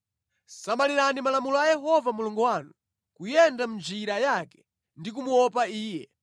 Samalirani malamulo a Yehova Mulungu wanu, kuyenda mʼnjira yake ndi kumuopa Iye.